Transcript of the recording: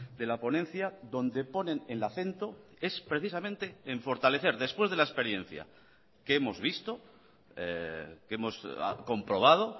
de la ponencia donde ponen el acento es precisamente en fortalecer después de la experiencia que hemos visto que hemos comprobado